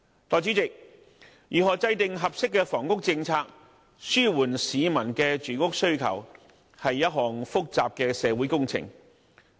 代理主席，如何制訂合適房屋政策，紓緩市民的住屋需求，是一項複雜的社會工程。